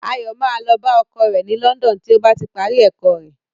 Ayọ̀ máa lọ bá ọkọ rẹ̀ ní London tí ó bá ti parí ẹ̀kọ́ rẹ̀.